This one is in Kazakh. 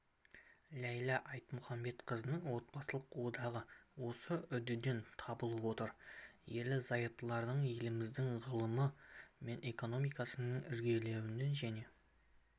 ләйлә айтмұхаметқызының отбасылық одағы осы үдеден табылып отыр ерлі-зайыптылар еліміздің ғылымы мен экономикасының ілгерілеуіне және